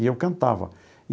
E eu cantava.